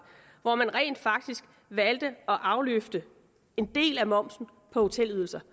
hvor man rent faktisk valgte at afløfte en del af momsen på hotelydelser